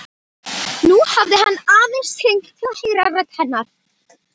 Nú hafði hann aðeins hringt til að heyra rödd hennar.